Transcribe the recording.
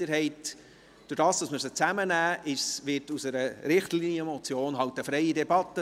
Durch das Zusammennehmen gilt halt auch für die Richtlinienmotion die freie Debatte.